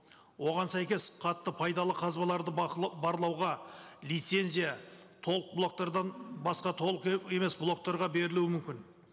оған сәйкес қатты пайдалы қазбаларды барлауға лицензия толық блоктардан басқа толық емес блоктарға берілуі мүмкін